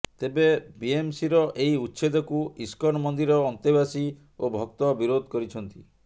ତେବେ ବିଏମ୍ସିର ଏହି ଉଚ୍ଛେଦକୁ ଇସ୍କନ ମନ୍ଦିର ଅନ୍ତେବାସୀ ଓ ଭକ୍ତ ବିରୋଧ କରିଛନ୍ତି